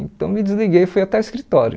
Então me desliguei e fui até o escritório.